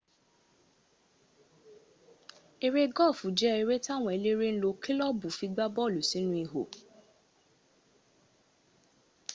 eré gọ́ọ̀fù jẹ́ eré táwọn eléré ńlò kílọ̀bù fi gbá bọ́ọ̀lù sínú ihò